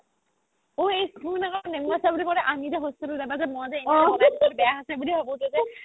ঐ শুন আকৌ নেমো আচাৰ বুলি কওতে আমি যে hostel ত এবাৰ যে মই যে